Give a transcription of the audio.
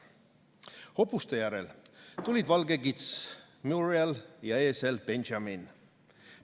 Hobuste järel tulid valge kits Muriel ja eesel Benjamin.